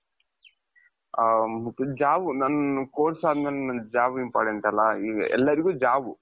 job ನನ್ course ಅದಮೇಲೆ ನನ್ job important ಅಲ್ವ ಈಗ ಎಲ್ಲರಿಗೂ jobಬು